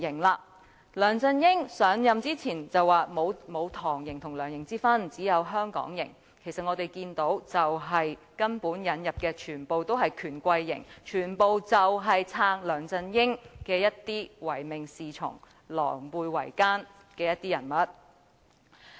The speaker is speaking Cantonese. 梁振英上任前說沒有"唐營"和"梁營"之分，只有"香港營"，但我們看到根本引入的全部都是"權貴營"，全部都是支持梁振英，一些唯命是從，狼狽為奸的人物。